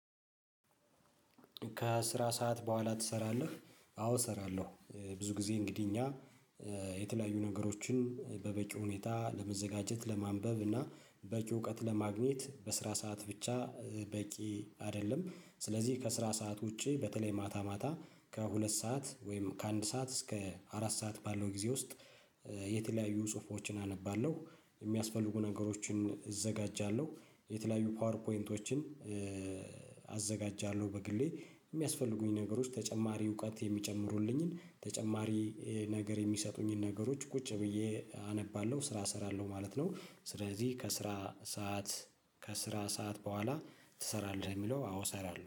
ከስራ ሰዓት በኋላ ትሰራለህ? አዎ እሰራለሁ። ብዙ ጊዜ እንግዲህ እኛ የተለያዩ ነገሮችን በበቂ ሁኔታ ለመዘጋጀት ለማንበብ እና በቂ እውቀት ለማግኘት በስራ ሰዓት ብቻ በቂ አይደለም። ስለዚህ ከስራ ሰዓት ውጪ በተለይ ማታ ማታ ከሁለት ሰዓት ወይም ከአንድ ሰዓት እስከ አራት ሰዓት ባለው ጊዜ ውስጥ። የተለያዩ ጽሁፎችን አነባለሁ። የሚያስፈልጉ ነገሮችን እዘጋጃለሁ። የተለያዩ ፓወር ፖይንቶችን አዘጋጃለሁ በግሌ የሚያስፈልጉኝ ነገሮች ተጨማሪ እውቀት የሚጨምሩልኝን ተጨማሪ ነገር የሚሰጡኝን ነገሮች ቁጭ ብዬ አነባለሁ ስራ እሰራለሁ ማለት ነው። ስለዚህ ከስራ ሰዓት ከስራ ሰዓት በኋላ ትሰራለህ የሚለው አዎ እሰራለሁ